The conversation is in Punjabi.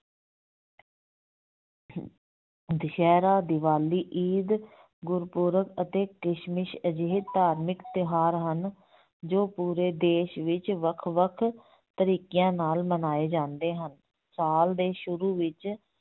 ਦੁਸਹਿਰਾ, ਦੀਵਾਲੀ, ਈਦ ਗੁਰਪੁਰਬ ਅਤੇ ਕ੍ਰਿਸ਼ਮਸ ਅਜਿਹੇ ਧਾਰਮਿਕ ਤਿਉਹਾਰ ਹਨ ਜੋ ਪੂਰੇ ਦੇਸ ਵਿੱਚ ਵੱਖ ਵੱਖ ਤਰੀਕਿਆਂ ਨਾਲ ਮਨਾਏ ਜਾਂਦੇ ਹਨ, ਸਾਲ ਦੇ ਸ਼ੁਰੂ ਵਿੱਚ